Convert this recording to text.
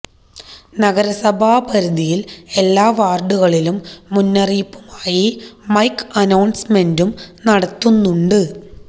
നഗരസഭാ പരിധിയിൽ എല്ലാ വാർഡുകളിലും മുന്നറിയിപ്പുമായി മൈക്ക് അനൌൺസ്മെന്റും നടത്തുന്നുണ്ട്